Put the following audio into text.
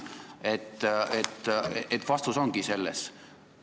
Vastus ongi selles.